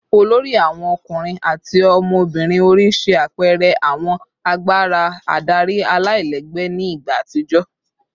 olori awon ọkunrin ati ọmọbirin ori ṣe apẹẹrẹ awọn agbara adari alailẹgbẹ ni igba atijọ